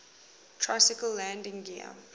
tricycle landing gear